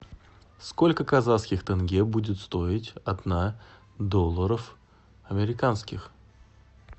сколько казахских тенге будет стоить одна долларов американских